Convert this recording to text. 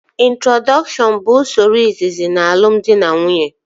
Introdọkshọn bụ usoro izizi n'alumdị na nwunye